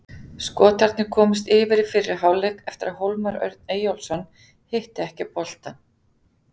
Skotarnir komust yfir í fyrri hálfleik eftir að Hólmar Örn Eyjólfsson hitti ekki boltann.